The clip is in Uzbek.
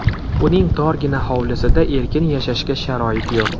Uning torgina hovlisida erkin yashashga sharoit yo‘q.